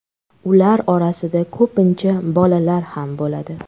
Ular orasida ko‘pincha bolalar ham bo‘ladi.